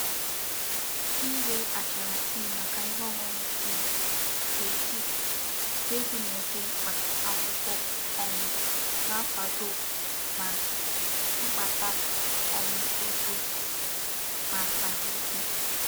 Ire achara tea maka ihe oñuñu tea nke tea nke di n'udi mkpa akwukwo um na-akwado ma mkpata um ego ma ahuike.